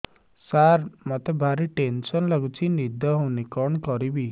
ସାର ମତେ ଭାରି ଟେନ୍ସନ୍ ଲାଗୁଚି ନିଦ ହଉନି କଣ କରିବି